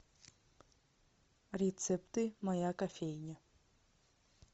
рецепты моя кофейня